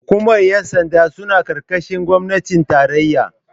hukumar yansanda suna karkashin gwamnatin tarayya